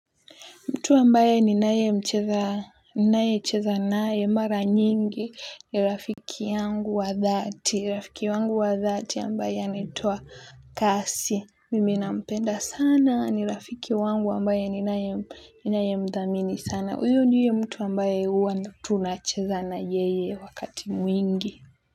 Mtu ambaye ninayemcheza ninayecheza naye mara nyingi ni rafiki yangu wa dhati. Rafiki wangu wa dhati ambaye anaitwa kasi. Mimi nampenda sana ni rafiki wangu ambaye ninaye ninayemthamini sana. Huyo ndiye mtu ambaye huwa tunacheza na yeye wakati mwingi.